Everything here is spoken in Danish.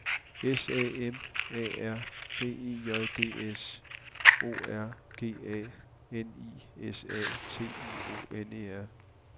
S A M A R B E J D S O R G A N I S A T I O N E R